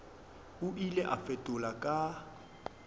o ile a fetola ka